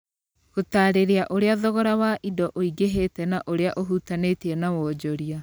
gũtaarĩria ũrĩa thogora wa indo ũingĩhĩte na ũrĩa ũhutanĩtie na wonjoria